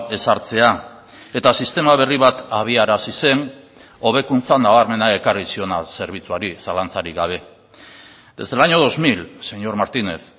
ezartzea eta sistema berri bat abiarazi zen hobekuntza nabarmena ekarri ziona zerbitzuari zalantzarik gabe desde el año dos mil señor martínez